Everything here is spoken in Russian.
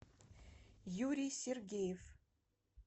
юрий сергеев